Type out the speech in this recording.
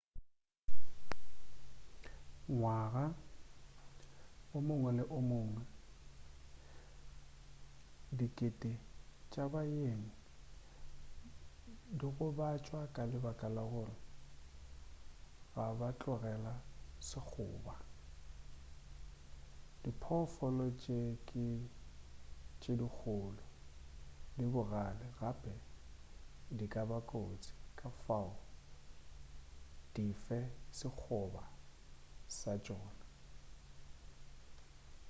ngwaga o mongwe le o mongwe dikete tša baeng di gobatšwa ka lebaka la gore ga ba tlogela sekgoba diphoofolo tše ke tše dikgolo di bogale gape di ka ba kotsi ka fao di fe sekgoba sa tšona